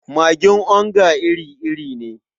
Magin onga iri-iri ne.